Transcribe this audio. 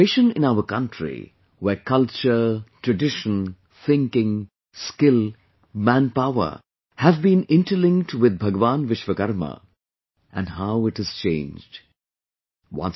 The situation in our country where culture, tradition, thinking, skill, manpower have been interlinked with Bhagwan Vishwakarma and how it has changed...